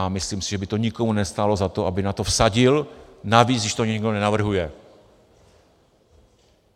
A myslím si, že by to nikomu nestálo za to, aby na to vsadil, navíc když to nikdo nenavrhuje.